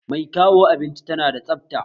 Mai kawo abinci tana da tsabta